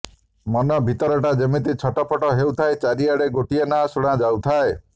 ମନ ଭିତରଟା ଯେମିତି ଛଟପଟ ହେଉଥାଏ ଚାରିପଟେ ଗୋଟିଏ ନାଁ ଶୁଣା ଯାଉଥାଏ